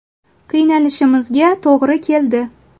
Qiynalishimizga to‘g‘ri keldi.